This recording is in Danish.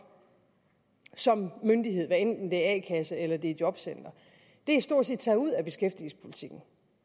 som myndighed hvad enten det er a kasse eller jobcenter stort set taget ud af beskæftigelsespolitikken